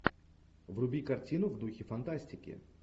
вруби картину в духе фантастики